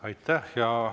Aitäh!